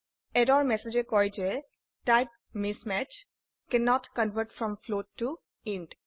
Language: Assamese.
এৰৰ ম্যাসেজে কয় যেType mismatch কেন্নত কনভাৰ্ট ফ্ৰম ফ্লোট ত ইণ্ট